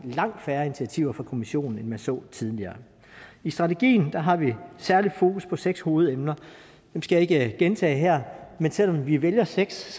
langt færre initiativer fra kommissionen end vi så tidligere i strategien har vi særlig fokus på seks hovedemner jeg skal ikke gentage dem her men selv om vi vælger seks